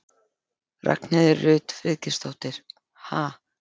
Ragnheiður Rut Friðgeirsdóttir: Ha?